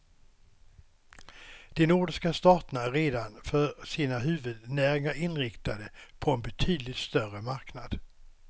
De nordiska staterna är redan för sina huvudnäringar inriktade på en betydligt större marknad.